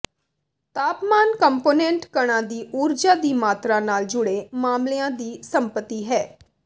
ਤਾਪਮਾਨ ਕੰਪੋਨੈਂਟ ਕਣਾਂ ਦੀ ਊਰਜਾ ਦੀ ਮਾਤਰਾ ਨਾਲ ਜੁੜੇ ਮਾਮਲਿਆਂ ਦੀ ਸੰਪਤੀ ਹੈ